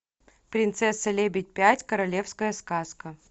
принцесса лебедь пять королевская сказка